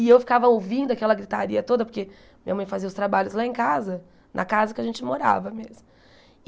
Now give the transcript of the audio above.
E eu ficava ouvindo aquela gritaria toda, porque minha mãe fazia os trabalhos lá em casa, na casa que a gente morava mesmo.